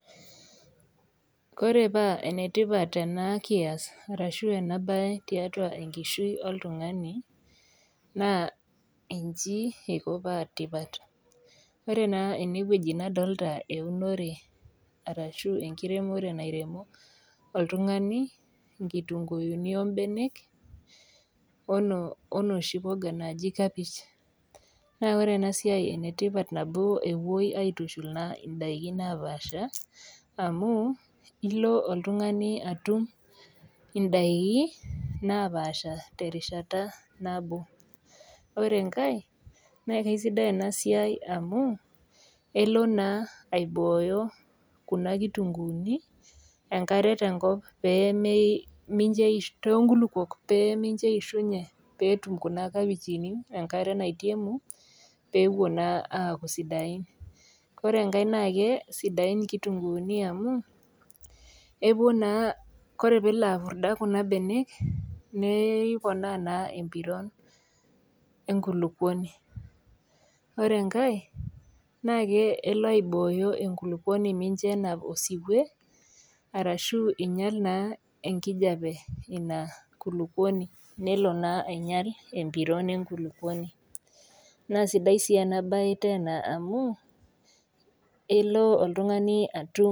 Ore paa enetipat ena kias ashu ena bae tiatua enkishui oltungani, naa nchi eiko paa tipat. Ore naa eneweji nalotita aunore ashu ekiremore neremo oltungani nkitunkuuni oombenek inoshi puka naaji kapish, Ore ena siai enetipat amu epuoi aitushulaa ndaiki naapasha amu ilo oltungani atum ndaiki naapasha terishata nabo. Ore enkae naa kaisidai ena siai amu elo naa aibooyo kuna kitunkuuni enkare toonkulupuok pee misho eishunye pee etum kuna kitunkuuni enkare naitemu pee epuo naa aaku sidain. Ore enkae naa kesidain nkitunkuuni amu, Ore pee epurda kuna benek ,nelo naa aponaa empiron enkulukuoni. Ore enkae nee elo aibooyo enkulupuoni micho enap osiwou, arashu einyal naa enkijepe eina kulupuoni nelo naa ainyal empiron enkulupuoni.